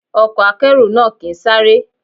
Ọkọ̀ akẹ́rù náà kì ń sáré.